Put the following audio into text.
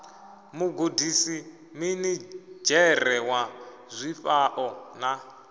mugudisi minidzhere wa zwifhao na